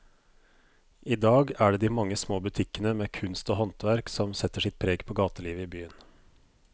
I dag er det de mange små butikkene med kunst og håndverk som setter sitt preg på gatelivet i byen.